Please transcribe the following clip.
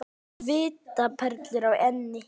Svitaperlur á enninu.